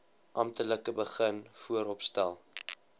amptelik begin vooropstel